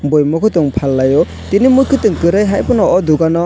oi mui kutung faallio tini mui kutung kwri haifano aw dukano--